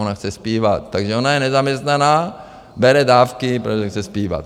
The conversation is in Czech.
Ona chce zpívat, takže ona je nezaměstnaná, bere dávky, protože chce zpívat.